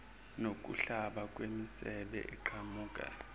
nokuhlaba kwemisebe eqhamuka